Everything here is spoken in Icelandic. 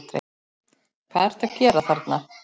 HVAÐ ERTU AÐ GERA ÞARNA!